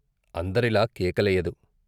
అంద రిలా కేకలెయ్యదు.